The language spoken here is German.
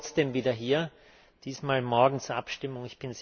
Ich habe ihn trotzdem wieder hier, diesmal morgen zur Abstimmung.